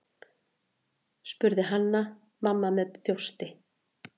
spurði Hanna-Mamma með þjósti.